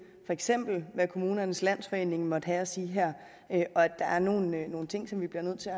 for eksempel kommunernes landsforening måtte have at sige her og at der er nogle nogle ting som vi bliver nødt til